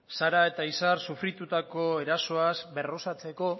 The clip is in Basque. sara eta izar sufritutako erasoaz berrosatzeko